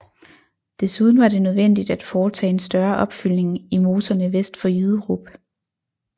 Desuden var det nødvendigt at foretage en større opfyldning i moserne vest for Jyderup